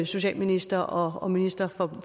socialminister og minister for